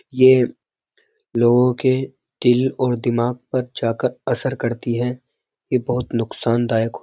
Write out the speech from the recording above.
यह लोगों के दिल और दिमाग पर जाकर असर करती है यह बहुत नुकसानदायक --